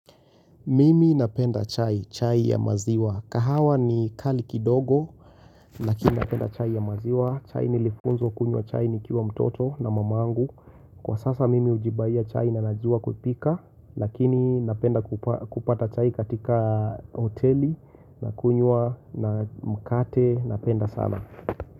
Mimi napenda chai, chai ya maziwa. Kahawa ni kali kidogo, lakini napenda chai ya maziwa. Chai nilifunzwa kunywa chai nikiwa mtoto na mama angu. Kwa sasa mimi ujibaiya chai na najua kupika, lakini napenda kupata chai katika hoteli, nakunywa na mkate, napenda sana.